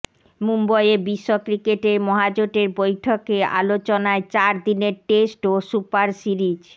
মুম্বইয়ে বিশ্ব ক্রিকেটের মহাজোটের বৈঠকে আলোচনায় চার দিনের টেস্ট ও সুপার সিরিজ